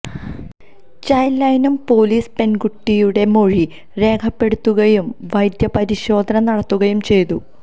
child ലൈനും പൊലീസും പെൺകുട്ടിയുടെ മൊഴി രേഖപ്പെടുത്തുകയും വൈദ്യപരിശോധന നടത്തുകയും ചെയ്തു